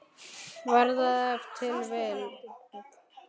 Var það ef til vill.